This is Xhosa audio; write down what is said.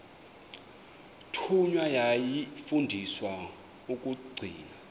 thunywa yafundiswa ukugcina